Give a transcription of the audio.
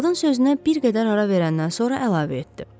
Qadın sözünə bir qədər ara verəndən sonra əlavə etdi.